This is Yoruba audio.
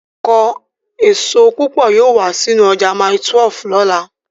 Ọkọ èso púpọ̀ yóò wá sínú ọjà mile 12 ní ọ̀la